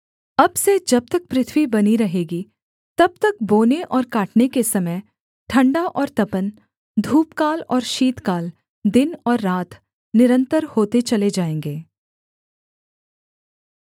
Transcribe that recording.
अब से जब तक पृथ्वी बनी रहेगी तब तक बोने और काटने के समय ठण्डा और तपन धूपकाल और शीतकाल दिन और रात निरन्तर होते चले जाएँगे